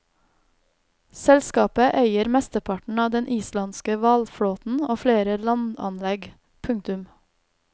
Selskapet eier mesteparten av den islandske hvalflåten og flere landanlegg. punktum